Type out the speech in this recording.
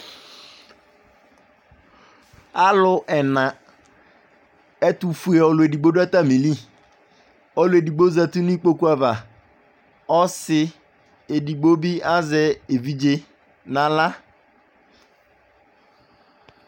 Alʊ ɛna ɛtufue olʊedigbo du'atamili oluedigbo zati n'ikpoku'ava ɔsɩ edigbo bɩ azɛ evidze n'ala